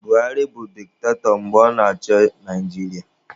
Buhari bụ diktatọ mgbe ọ na-achị Naijiria